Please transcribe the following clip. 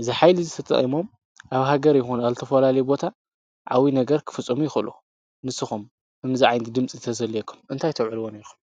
እዚ ሓይሊ ተጠቒሞም ኣብ ሃገር ይኹን ኣብ ዝተፈላለየ ቦታ ዓብዪ ነገር ክፍፅሙ ይኽእሉ፡፡ ንስኹም ከምዚ ዓይነት ድምፂ እንተዝህልዎወኩም ንምንታይ ክተውዕልዎ ኔርኩም?